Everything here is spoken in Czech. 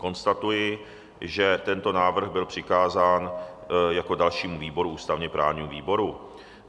Konstatuji, že tento návrh byl přikázán jako dalšímu výboru ústavně-právnímu výboru.